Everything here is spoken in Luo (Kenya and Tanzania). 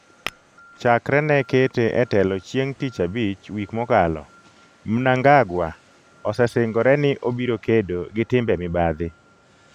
Chakre ne kete e telo chieng' tich abich wik mokalo, Mnangagwa osesingore ni obiro kedo gi timbe mibadhi.